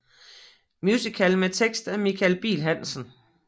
Musical med tekst af Michael Bihl Hansen